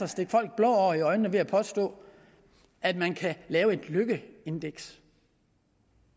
stikke folk blår i øjnene at påstå at man kan lave et lykkeindeks